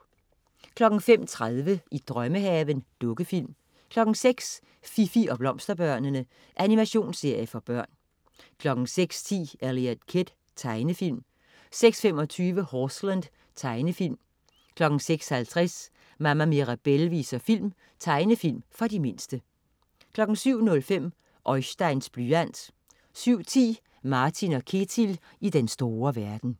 05.30 I drømmehaven. Dukkefilm 06.00 Fifi og Blomsterbørnene. Animationsserie for børn 06.10 Eliot Kid. Tegnefilm 06.25 Horseland. Tegnefilm 06.50 Mama Mirabelle viser film. Tegnefilm for de mindste 07.05 Oisteins blyant 07.10 Martin & Ketil i den store verden